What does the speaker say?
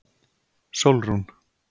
Sólrún